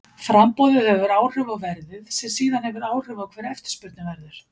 Framboðið hefur áhrif á verðið sem síðan hefur áhrif á hver eftirspurnin verður.